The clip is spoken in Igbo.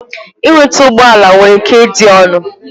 Ịnweta ụgbọ ala nwere ike ịdị ọnụ.